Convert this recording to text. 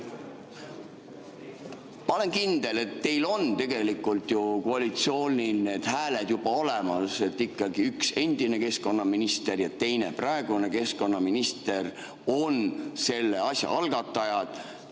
Ma olen kindel, et tegelikult ju koalitsioonil on need hääled juba olemas, ikkagi endine keskkonnaminister ja praegune keskkonnaminister on selle asja algatajad.